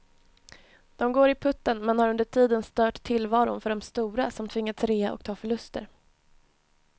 De går i putten men har under tiden stört tillvaron för de stora, som tvingats rea och ta förluster.